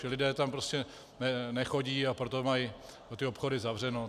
Ti lidé tam prostě nechodí, a proto mají ty obchody zavřeno.